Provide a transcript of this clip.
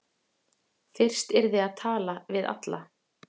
Fyrst yrði að tala við alla